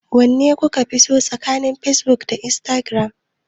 Wanne kuka fi so tsakanin Facebook da Instagram?